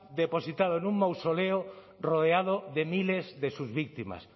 depositado en un mausoleo rodeado de miles de sus víctimas